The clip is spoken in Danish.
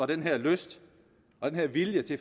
den her lyst og den her vilje til